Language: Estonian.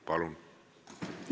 Palun!